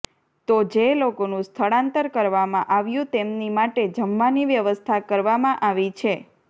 તો જે લોકોનું સ્થળાંતર કરવામાં આવ્યું તેમની માટે જમવાની વ્યવસ્થા કરવામાં આવી છે